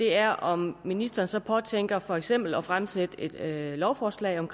er om ministeren så påtænker for eksempel at fremsætte et lovforslag om